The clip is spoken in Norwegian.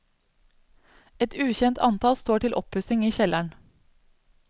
Et ukjent antall står til oppussing i kjelleren.